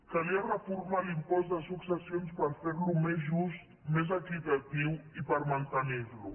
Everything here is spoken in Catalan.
calia reformar l’impost de successions per ferlo més just més equitatiu i per mantenirlo